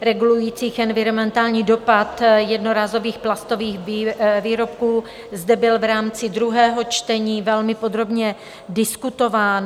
regulujících environmentální dopad jednorázových plastových výrobků, zde byl v rámci druhého čtení velmi podrobně diskutován.